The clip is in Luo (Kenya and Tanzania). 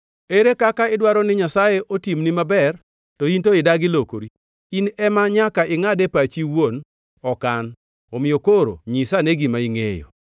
Ere kaka idwaro ni Nyasaye otimni maber, to in to idagi lokori? In ema nyaka ingʼad e pachi iwuon, ok an, omiyo koro nyisane gima ingʼeyo.